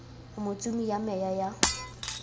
o motsumi wa meya ya